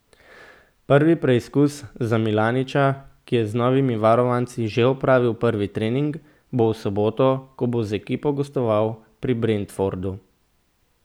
Prvi preizkus za Milaniča, ki je z novimi varovanci že opravil prvi trening, bo v soboto, ko bo z ekipo gostoval pri Brentfordu.